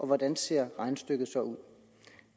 hvordan ser regnestykket så ud